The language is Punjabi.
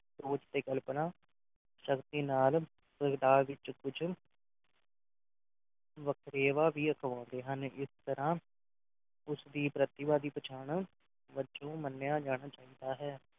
ਸੋਚ ਤੇ ਕਲਪਨਾ ਸ਼ਕਤੀ ਨਾਲ ਪ੍ਰਗਟਾ ਵਿੱਚ ਕੁੱਝ ਵਖਰੇਵਾ ਵੀ ਅਖਵਾਉਂਦੇ ਹਨ ਇਸ ਤਰ੍ਹਾਂ ਉਸ ਦੀ ਪ੍ਰਤਿਭਾ ਦੀ ਪਛਾਣ ਵਜੋਂ ਮੰਨਿਆ ਜਾਣਾ ਚਾਹੀਦਾ ਹੈ